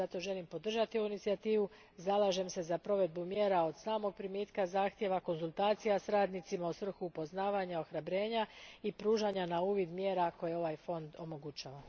Zato želim podržati ovu inicijativu i zalažem se za provedbu mjera od samog primitka zahtjeva, konzultacija s radnicima u svrhu poznavanja, ohrabrenja i pružanja na uvid mjera koje ovaj fond omogućava.